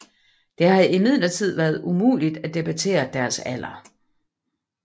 Det har imidlertid været umuligt at datere deres alder